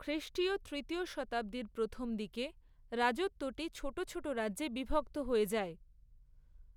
খ্রিষ্টীয় তৃতীয় শতাব্দীর প্রথম দিকে রাজত্বটি ছোট ছোট রাজ্যে বিভক্ত হয়ে যায়।